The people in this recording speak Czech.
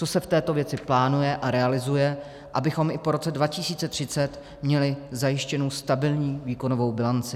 Co se v této věci plánuje a realizuje, abychom i po roce 2030 měli zajištěnu stabilní výkonovou bilanci?